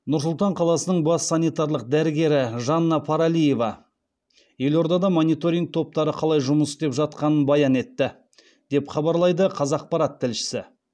нұр сұлтан қаласының бас санитарлық дәрігері жанна паралиева елордада мониторинг топтары қалай жұмыс істеп жатқанын баян етті деп хабарлайды қазақпарат тілшісі